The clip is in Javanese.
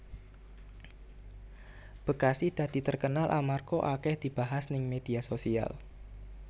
Bekasi dadi terkenal amarga akeh dibahas ning media sosial